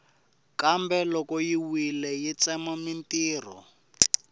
kambe loko yi wile yi tsema mintirho